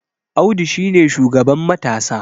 Audu shi ne shugaban matasa